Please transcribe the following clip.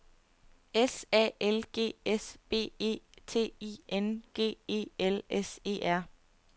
S A L G S B E T I N G E L S E R